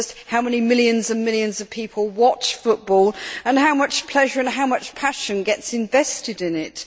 just how many millions and millions of people watch football and how much pleasure and passion is invested in it.